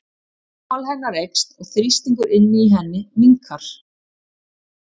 Rúmmál hennar eykst og þrýstingur inni í henni minnkar.